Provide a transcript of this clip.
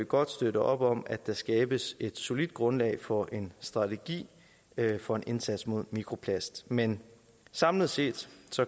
godt støtte op om at der skabes et solidt grundlag for en strategi for en indsats mod mikroplast men samlet set